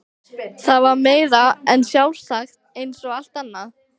Það var meira en sjálfsagt eins og allt annað.